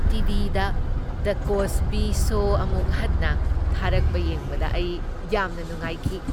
T. V. The "the Cosby Show" ꯑꯃꯨꯛ ꯍꯟꯅ ꯊꯥꯔꯛꯄ ꯌꯦꯡꯕꯗ ꯑꯩ ꯌꯥꯝꯅ ꯅꯨꯡꯉꯥꯏꯈꯤ ꯫